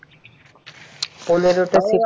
পনের টা থেকে